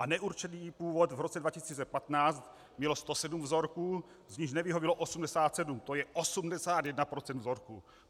A neurčený původ v roce 2015 mělo 107 vzorků, z nichž nevyhovělo 87, to je 81 % vzorků.